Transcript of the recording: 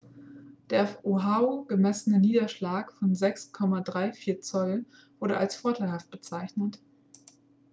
der auf oahu gemessene niederschlag von 6,34 zoll wurde als vorteilhaft bezeichnet